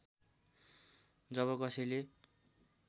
जब कसैले